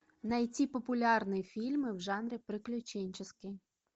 найти популярные фильмы в жанре приключенческий